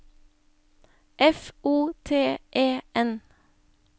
F O T E N